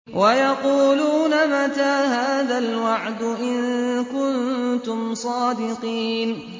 وَيَقُولُونَ مَتَىٰ هَٰذَا الْوَعْدُ إِن كُنتُمْ صَادِقِينَ